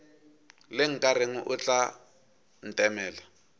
le nkareng o tla ntemela